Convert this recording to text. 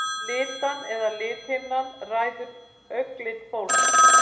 Litan eða lithimnan ræður augnlit fólks.